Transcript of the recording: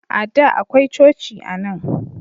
A da akwai coci anan.